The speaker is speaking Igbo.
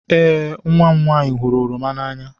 Ee, nwa m nwanyị hụrụ oroma n'anya.